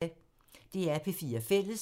DR P4 Fælles